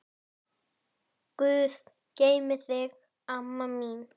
Guð geymi þig, amma mín.